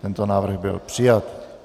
Tento návrh byl přijat.